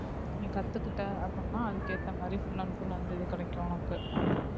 நீ கத்துக்கிட்ட அப்படின்னா அதுக்கு ஏத்த மாதிரி full and full அந்த இது கிடைக்கும் உனக்கு